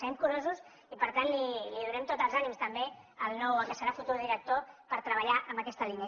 serem curosos i per tant donem tots els ànims també al nou al qui serà el futur director per treballar en aquesta línia